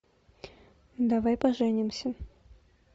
давай поженимся